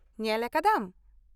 ᱧᱮᱞ ᱟᱠᱟᱫᱟᱢ ?